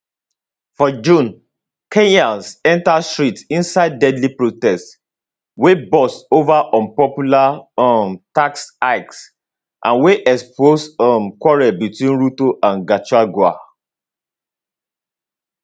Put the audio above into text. for june kenyans enter streets inside deadly protests wey burst over unpopular um tax hikes and wey expose um quarrel between ruto and gachagua